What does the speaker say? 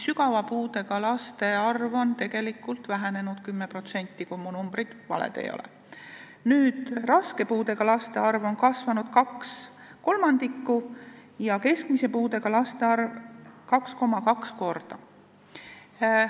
Sügava puudega laste arv on vähenenud 10%, kui mu numbrid valed ei ole, raske puudega laste arv on kasvanud kaks kolmandikku ja keskmise puudega laste arv 2,2 korda.